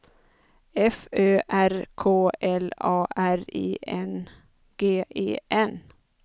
F Ö R K L A R I N G E N